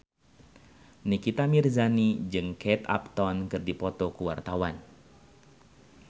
Nikita Mirzani jeung Kate Upton keur dipoto ku wartawan